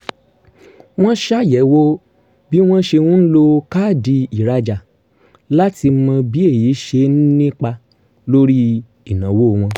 wọ́n ṣàyẹ̀wò bí wọ́n ṣe ń lo káàdì ìrajà láti mọ bí èyí ṣe ń nípa lórí ìnáwó wọn